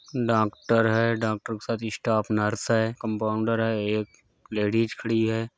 Doctor है doctor के साथ स्टाफ नर्स है कंपाउंडर है। एक लेडीज़ खड़ी है।